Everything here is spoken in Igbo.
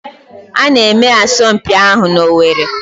A na-eme asọmpi ahụ n'Owerri